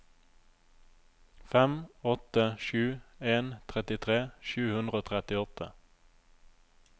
fem åtte sju en trettitre sju hundre og trettiåtte